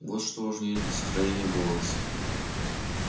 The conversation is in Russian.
вот что важнее для сохранения баланса